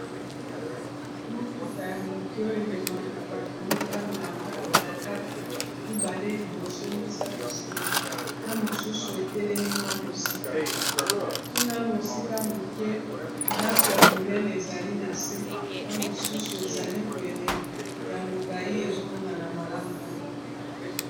Motuka ya moke oyo ememaka bato mitano na kati mibale liboso misato nsima na mosusu etelemi mwa mosika kuna mosika moke ndako ya monene ezali na se na mosusu ezali pene ya molayi ezomonana malamu te.